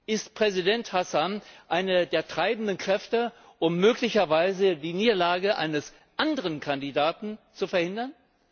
Ist Präsident Hassan eine der treibenden Kräfte, um möglicherweise den Sieg eines anderen Kandidaten zu verhindern?